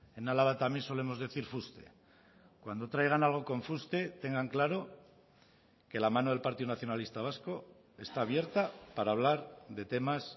en álava también solemos decir fuste cuando traigan algo con fuste tengan claro que la mano del partido nacionalista vasco está abierta para hablar de temas